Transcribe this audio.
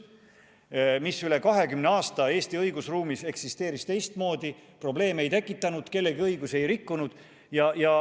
Üle aasta eksisteeris see Eesti õigusruumis teistmoodi, probleeme ei tekitanud, kellegi õigusi rikkunud.